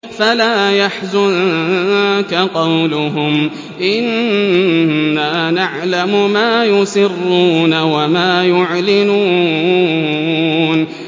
فَلَا يَحْزُنكَ قَوْلُهُمْ ۘ إِنَّا نَعْلَمُ مَا يُسِرُّونَ وَمَا يُعْلِنُونَ